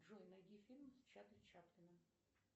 джой найди фильм с чарли чаплином